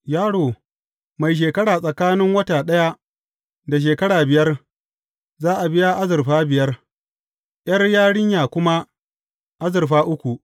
Yaro mai shekara tsakanin wata ɗaya da shekara biyar, za a biya azurfa biyar, ’yar yarinya kuma azurfa uku.